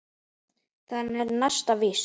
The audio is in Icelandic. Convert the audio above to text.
Það er næsta víst.